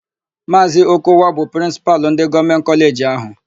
Maazị Okowa bụ Prịnsịpalụ ndị Gọọmentị kọleji áhù.